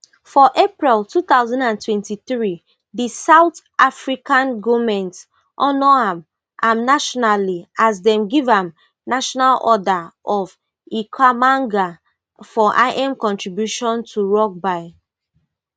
for april two thousand and twenty-three di south african goment honour am am nationally as dem give am national order of ikhamanga for im contributions to rugby